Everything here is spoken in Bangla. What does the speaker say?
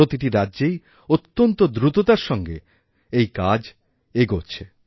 প্রতিটি রাজ্যেই অত্যন্তদ্রুততার সঙ্গে এই কাজ এগোচ্ছে